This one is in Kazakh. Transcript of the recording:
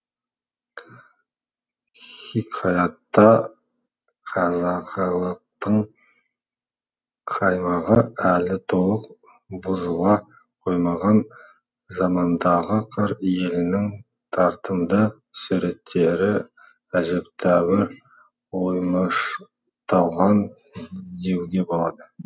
хикаятта қазақылықтың қаймағы әлі толық бұзыла қоймаған замандағы қыр елінің тартымды суреттері әжептәуір оймышталған деуге болады